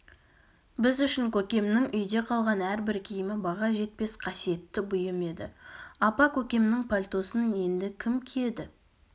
біз үшін көкемнің үйде қалған әрбір киімі баға жетпес қасиетті бұйым еді апа көкемнің пальтосын енді кім киеді